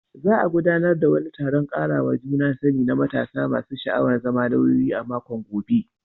Za a gudanar da wani taron karawa juna sani na matasa masu sha'awar zama lauyoyi a makon gobe.